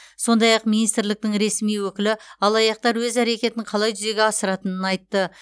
сондай ақ министрліктің ресми өкілі алаяқтар өз әрекетін қалай жүзеге асыратынын айтты